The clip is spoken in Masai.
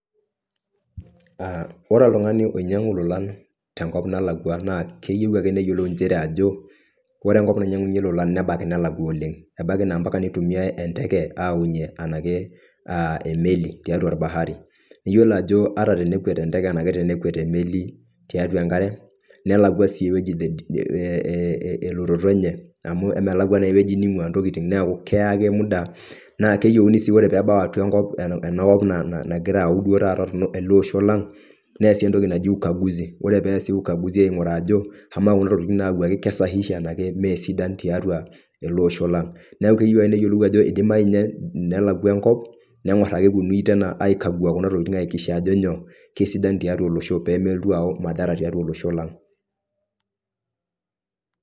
ore oltung'ani oinyang'u lolan tenkop nalakua naa keyiu ake neyiolou inchere ajo ore enkop nainyang'unye lolan nebaiki nelakua oleng, ebaiki naa mpaka neitumiyae enteke aunye anake aah emeli tiatua orbahari, iyiolo ajo ata tenekwet enteke anaki tenekwet emeli tiatua enkare nelakua sii ewueji eeh eeh ewueji elototo enye, amu emelakua naa ewueji neing'ua ntokiting neeku keya ake muda naa keyieuni sii ore peebao atua enkop enakop naa nagira ayau duo taata ele osho lang, neesi entoki naji ukaguzi ore peesi ukaguzi aing'uraa ajo amaa kuna tokiting nayawuaki ke sahihi anaa meesidan tiatua ele osho lang, neeku keyieu ake neyioluo ajo eidimayu ninye nelakua enkop neng'or ake epuonunui tena ai kagua kuna tokiting ai hakikisha ajo nyoo kesidan tiatua olosho peemelotu ayau madhara atua olosho.